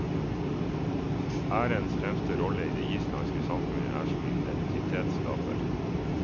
Ærens fremste rolle i det islandske samfunnet er som identitetsskaper.